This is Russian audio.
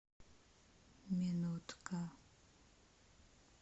минутка